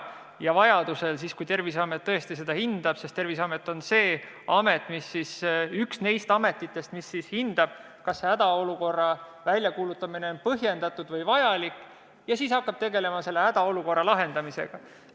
Ja vajaduse korral, kui Terviseamet nii hindab – Terviseamet on üks neist ametitest, mis hindab, kas hädaolukorra väljakuulutamine on põhjendatud ja vajalik –, hakkab Terviseamet tegelema hädaolukorra lahendamisega.